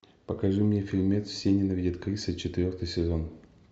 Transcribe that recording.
покажи мне фильмец все ненавидят криса четвертый сезон